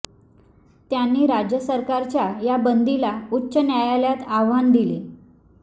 त्यांनी राज्य सरकारच्या या बंदीला उच्च न्यायालयात आव्हान दिले